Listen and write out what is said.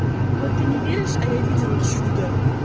ой ты не веришь а я видела чудо